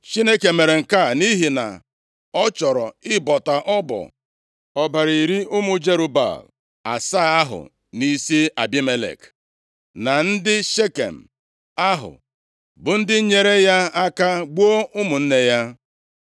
Chineke mere nke a nʼihi na ọ chọrọ ịbọta ọbọ ọbara iri ụmụ Jerub-Baal asaa ahụ nʼisi Abimelek, na ndị Shekem ahụ bụ ndị nyeere ya aka gbuo ụmụnne ya.